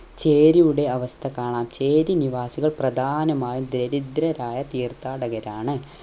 ചേരിയുടെ അവസ്ഥ കാണാം ചേരി നിവാസികൾ പ്രദാനമായും ദരിദ്രരായ തീർത്ഥാടകരാണ്